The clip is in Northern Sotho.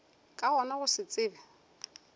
ka gona go se tsebe